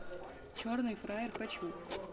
черный фраер хочу